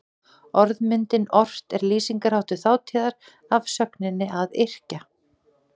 Orðmyndin ort er lýsingarháttur þátíðar af sögninni að yrkja.